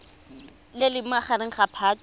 le leng magareng ga phatwe